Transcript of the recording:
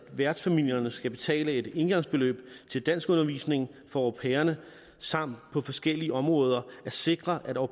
værtsfamilierne skal betale et engangsbeløb til danskundervisning for au pairerne samt på forskellige områder at sikre at au